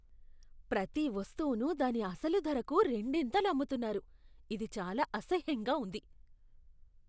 ప్రతి వస్తువును దాని అసలు ధరకు రెండింతలకు అమ్ముతున్నారు. ఇది చాలా అసహ్యంగా ఉంది.